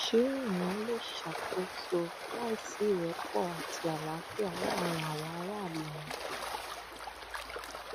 ṣé èèyàn lè ṣàkóso láì sí ìrẹpọ àti àlàáfíà láàrin àwọn aráàlú ni